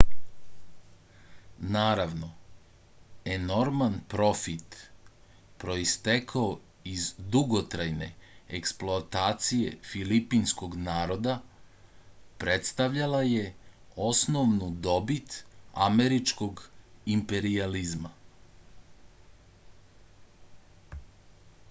naravno enorman profit proistekao iz dugotrajne eksploatacije filipinskog naroda predstavljala je osnovnu dobit američkog imperijalizma